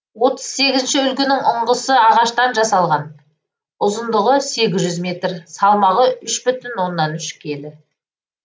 отыз сегізінші үлгінің ұңғысы ағаштан жасалған ұзындығы сегіз жүз метр салмағы үш бүтін оннан үш келі